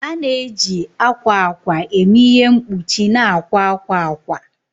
A na-eji akwa akwa eme ihe mkpuchi na akwa akwa akwa.